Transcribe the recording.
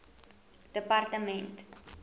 departement